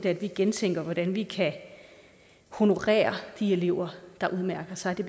at vi gentænker hvordan vi kan honorere de elever der udmærker sig det